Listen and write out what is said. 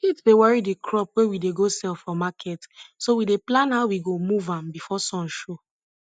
heat dey worry di crop wey we dey go sell for market so we dey plan how we go move am before sun show